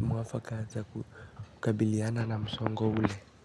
mwafaka za kukabiliana na msongo ule.